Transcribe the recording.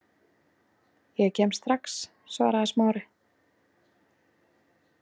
Ég kem strax- svaraði Smári.